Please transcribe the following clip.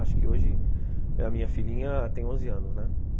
Acho que hoje a minha filhinha tem onze anos, né?